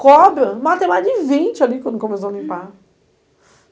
Cobra, matei mais de vinte ali quando começou a limpar.